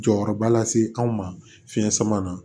Jɔyɔrɔba lase anw ma fiɲɛ sama na